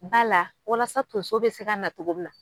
Ba la walasa tonso bi se ka na cogo mina